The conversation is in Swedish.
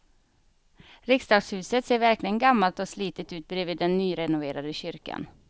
Riksdagshuset ser verkligen gammalt och slitet ut bredvid den nyrenoverade kyrkan.